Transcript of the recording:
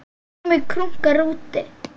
Krummi krunkar úti